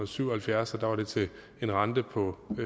syv og halvfjerds og der var det til en rente på